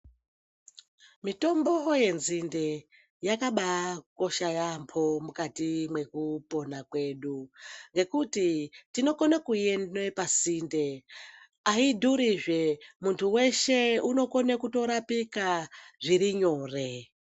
Mitombo yenzinde yakabakosha yaamho mukati mwekupona kwedu. Ngekuti tinokone kuione pasinde haidhuruzve muntu veshe unokona kutorapika zvirinyore.